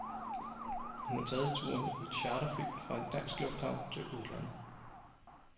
Hun har taget turen i et charterfly fra en dansk lufthavn til udlandet.